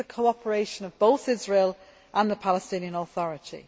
It needs the cooperation of both Israel and the Palestinian Authority.